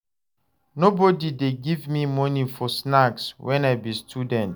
Nobodi dey give me moni for snacks wen I be student.